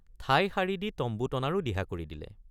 ঠাই সাৰি দি তম্বু টনাৰো দিহা কৰি দিলে।